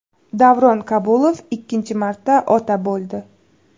Davron Kabulov ikkinchi marta ota bo‘ldi.